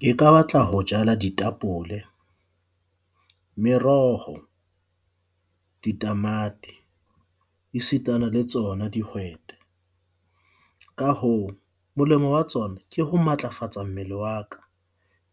Ke ka batla ho jala ditapole, meroho, ditamati esitana le tsona dihwete. Ka hoo molemo wa tsona ke ho matlafatsa mmele wa ka